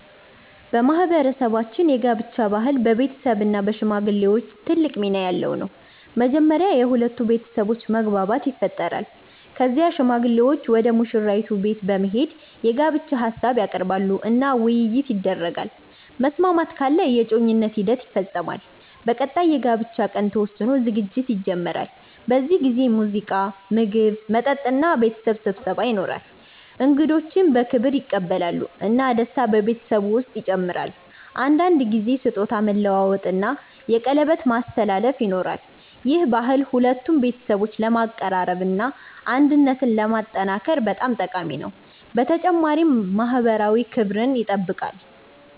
በማህበረሰባችን የጋብቻ ባህል በቤተሰብ እና በሽማግሌዎች ትልቅ ሚና ያለው ነው። መጀመሪያ የሁለቱ ቤተሰቦች መግባባት ይፈጠራል። ከዚያ ሽማግሌዎች ወደ ሙሽራይቱ ቤት በመሄድ የጋብቻ ሀሳብ ያቀርባሉ እና ውይይት ይደረጋል። መስማማት ካለ የእጮኝነት ሂደት ይፈጸማል። በቀጣይ የጋብቻ ቀን ተወስኖ ዝግጅት ይጀመራል። በዚህ ጊዜ ሙዚቃ፣ ምግብ፣ መጠጥ እና ቤተሰብ ስብሰባ ይኖራል። እንግዶች በክብር ይቀበላሉ እና ደስታ በቤተሰቡ ውስጥ ይጨምራል። አንዳንድ ጊዜ ስጦታ መለዋወጥ እና የቀለበት ማስተላለፍ ይኖራል። ይህ ባህል ሁለቱን ቤተሰቦች ለማቀራረብ እና አንድነትን ለማጠናከር በጣም ጠቃሚ ነው፣ በተጨማሪም ማህበራዊ ክብርን ይጠብቃል።